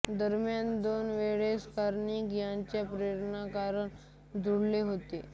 दरम्यान दोन वेळेस कर्णिक यांचे प्रेमप्रकरण जुळले होते